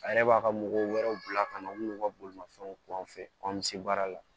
A yɛrɛ b'a ka mɔgɔ wɛrɛw bila ka na u n'u ka bolimafɛnw kun bɛ se baara la